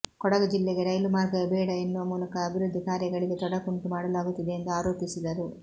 ಕೊಡಗು ಜಿಲ್ಲೆಗೆ ರೈಲು ಮಾರ್ಗವೇ ಬೇಡ ಎನ್ನುವ ಮೂಲಕ ಅಭಿವೃದ್ಧಿ ಕಾರ್ಯಗಳಿಗೆ ತೊಡಕುಂಟು ಮಾಡಲಾಗುತ್ತಿದೆ ಎಂದು ಆರೋಪಿಸಿದರು